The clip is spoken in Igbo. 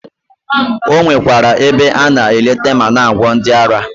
O nwekwara ebe a na eleta ma na-agwọ ndị ara.